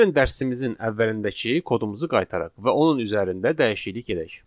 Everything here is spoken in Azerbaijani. Gəlin dərsimizin əvvəlindəki kodumuzu qaytaraq və onun üzərində dəyişiklik edək.